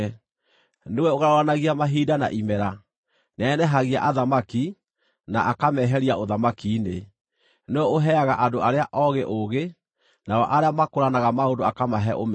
Nĩwe ũgarũranagia mahinda na imera; nĩanenehagia athamaki, na akameheria ũthamaki-inĩ. Nĩwe ũheaga andũ arĩa oogĩ ũũgĩ, nao arĩa makũũranaga maũndũ akamahe ũmenyo.